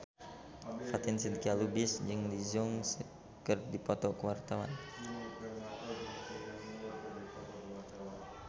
Fatin Shidqia Lubis jeung Lee Jeong Suk keur dipoto ku wartawan